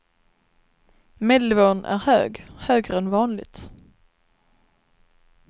Medelnivån är hög, högre än vanligt.